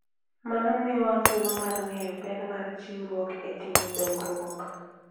Mano miyowa thuolo mar ng'eyo ber mar chiwruok e timo dongruok.